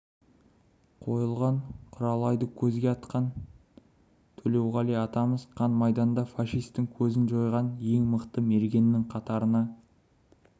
қойылған құралайды көзге атқан төлеуғали атамыз қан майданда фашистің көзін жойған ең мықты мергеннің қатарына